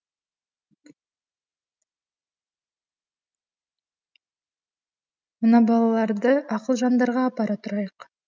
мына балаларды ақылжандарға апара тұрайық